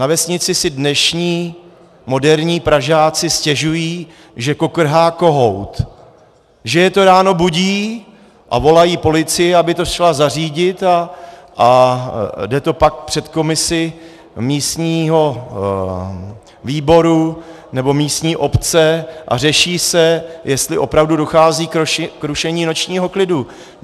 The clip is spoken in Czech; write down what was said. Na vesnici si dnešní moderní Pražáci stěžují, že kokrhá kohout, že je to ráno budí, a volají policii, aby to šla zařídit, a jde to pak před komisi místního výboru nebo místní obce a řeší se, jestli opravdu dochází k rušení nočního klidu.